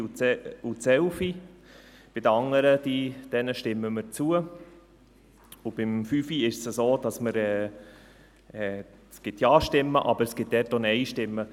Bei der Planungserklärung 5 ist es so, dass es bei uns Ja-Stimmen gibt, aber es gibt dazu auch NeinStimmen.